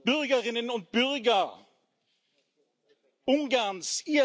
Bürgerinnen und Bürger Ungarns!